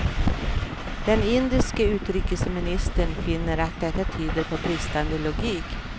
Den indiske utrikesministern finner att detta tyder på bristande logik.